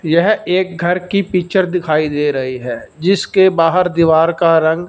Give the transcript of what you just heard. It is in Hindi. यह एक घर की पिक्चर दिखाई दे रही है जिसके बाहर दीवार का रंग--